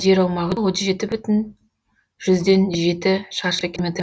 жер аумағы отыз жеті бүтін жүзден жеті шаршы километр